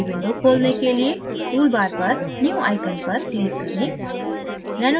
new window खोलने के लिए tool bar पर new icon पर click करें